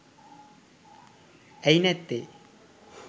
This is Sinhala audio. ඇයි නැත්තේ.